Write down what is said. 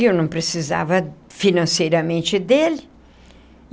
E eu não precisava financeiramente dele.